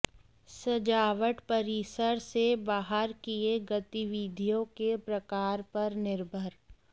सजावट परिसर से बाहर किए गतिविधियों के प्रकार पर निर्भर